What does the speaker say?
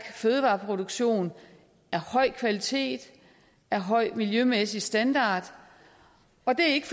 fødevareproduktion af høj kvalitet af høj miljømæssig standard og det er ikke